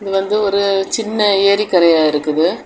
இது வந்து ஒரு சின்ன ஏரி கரையா இருக்குது.